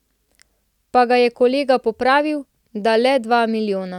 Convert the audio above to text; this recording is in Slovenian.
Pa ga je kolega popravil, da le dva milijona.